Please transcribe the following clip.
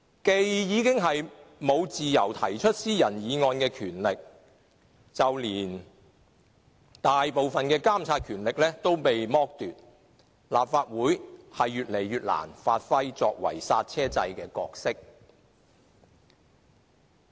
既沒有自由提出私人議案的權力，就連大部分的監察權力也遭剝奪，立法會已越來越難發揮作為剎車掣的角色。